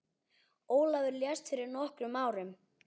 Ólafur lést fyrir nokkrum árum.